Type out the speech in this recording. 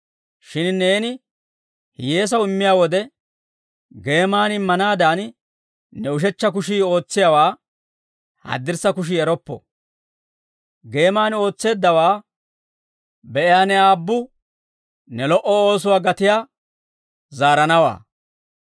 Shin neeni hiyyeesaw immiyaa wode, geeman immanaadan, ne ushechcha kushii ootsiyaawaa haddirssa kushii eroppo. Geeman ootseeddawaa be'iyaa ne Aabbu, ne lo"o oosuwaa gatiyaa zaaranawaa.